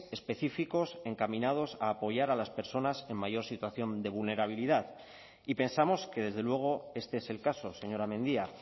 específicos encaminados a apoyar a las personas en mayor situación de vulnerabilidad y pensamos que desde luego este es el caso señora mendia